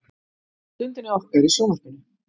Stundinni okkar í sjónvarpinu.